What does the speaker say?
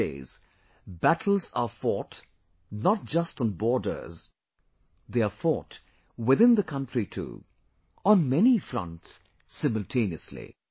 These days, battles are fought not just on borders; they are fought within the country too, on many fronts simultaneously